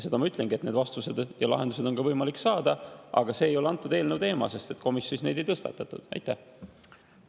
Ma ütlengi, et neid vastuseid ja lahendusi on võimalik, aga see ei ole antud eelnõu teema, sest komisjonis neid ei tõstatatud.